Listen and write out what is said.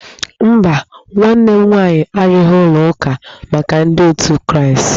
Mba, nwanne m nwaanyị arụghị ụlọ ụka maka ndị otu ndi kraastị